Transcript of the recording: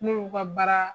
N'u y'u ka baara